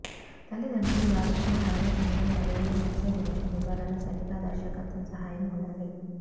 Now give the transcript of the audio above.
తల్లిదండ్రులు వారి పిల్లల ఆలోచనలు మరియు ఉచ్చరించు వివరణ సరిగా దర్శకత్వం సహాయం ఉండాలి